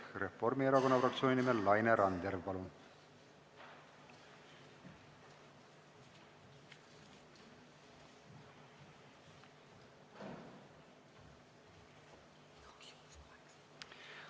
Reformierakonna fraktsiooni nimel Laine Randjärv, palun!